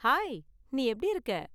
Hi, நீ எப்படி இருக்க?